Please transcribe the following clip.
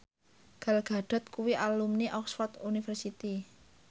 Gal Gadot kuwi alumni Oxford university